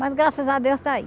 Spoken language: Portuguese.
Mas graças a Deus está aí.